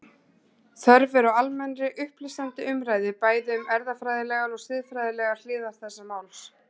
Þörf er á almennri, upplýsandi umræðu bæði um erfðafræðilegar og siðfræðilegar hliðar þessa máls.